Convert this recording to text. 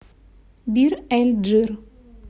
бир эль джир